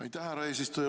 Aitäh, härra eesistuja!